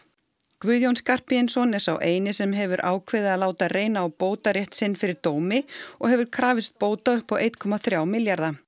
Guðjón Skarphéðinsson er sá eini sem hefur ákveðið að láta reyna á bótarétt sinn fyrir dómi og hefur krafist bóta upp á einn komma þrjá milljarða